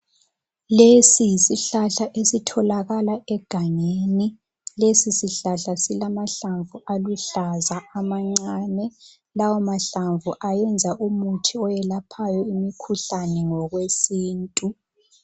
Lesi yisihlahla esitholakala egangeni. Lesi sihlahla silamahlamvu aluhlaza amancane. Lawa mahlamvu ayenza umuthi owelaphayo imikhuhlane ngokwesintu.